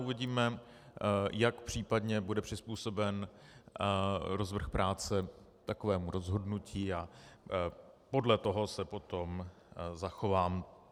Uvidíme, jak případně bude přizpůsoben rozvrh práce takovému rozhodnutí, a podle toho se potom zachovám.